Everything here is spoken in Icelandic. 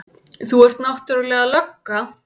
Þú ert náttúrlega lögga.